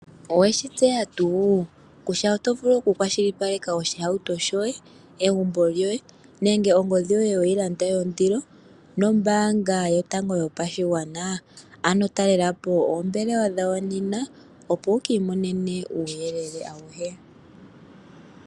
Oweshi tseya tu kutya oto vulu oku kwashilipaleka oshihauto shoye, egumbo lyoye, nenge ongodhi yoye weyi landa yondilo nombaanga yotango yopashigwana? Ano talela po oombelewa dhawo nene, opo wuke imonene uuyelele awuhe.